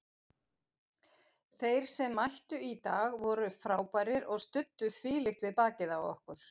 Þeir sem mættu í dag voru frábærir og studdu þvílíkt við bakið á okkur.